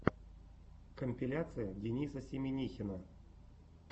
компиляция дениса семинихина